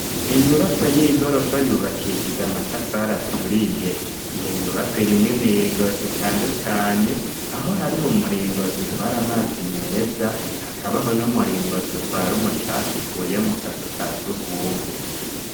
Inyubakwa y'igorofa, yubakishije amatafari aturiye, iyo nyubakwa irimwo imiringoti itandukanye, aho hariho umuringoti utwara amazi meza, hakabaho n'umuringoti utwara umucafu ukuye mu kazu ka sugumwe.